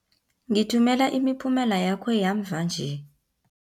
Ngithumela imiphumela yakho yamva nje.